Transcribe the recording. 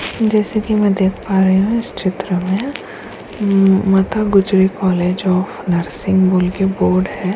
जैसे कि मैं देख पा रही हूँ इस चित्र में Mata Gujri college of nursing बोल के बोर्ड है।